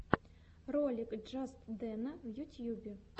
ролик джастдэна в ютьюбе